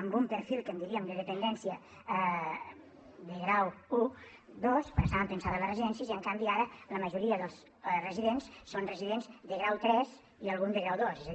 amb un perfil que en diríem de dependència de grau i ii com estaven pensades les residències i en canvi ara la majoria dels residents són residents de grau iii i algun de grau ii